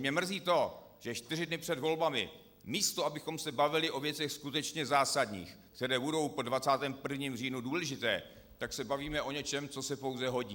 Mě mrzí to, že čtyři dny před volbami, místo abychom se bavili o věcech skutečně zásadních, které budou po 21. říjnu důležité, tak se bavíme o něčem, co se pouze hodí.